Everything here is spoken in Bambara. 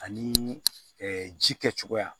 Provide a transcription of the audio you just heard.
Ani ji kɛcogoya